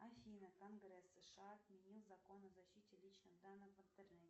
афина конгресс сша отменил закон о защите личных данных в интернете